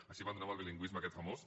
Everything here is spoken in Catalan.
així abandonem el bilingüisme aquest famós